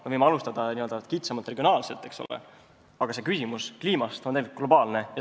Me võime alustada kitsamalt ja regionaalselt, aga kliimaküsimus on globaalne.